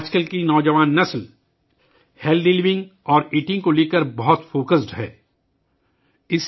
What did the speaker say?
آج کل نوجوان نسل صحت مند رہنے اور کھانے پر بہت زیادہ توجہ دے رہی ہے